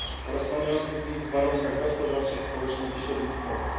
oraz panujących w nich warunkach gospodarczych, społecznych i środowiskowych.